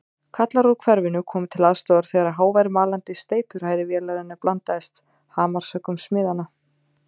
Kallar úr hverfinu komu til aðstoðar þegar hávær malandi steypuhrærivélarinnar blandaðist hamarshöggum smiðanna.